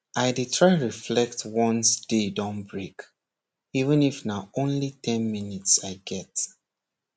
i dey try reflect once day don break even if truly na only ten minutes i get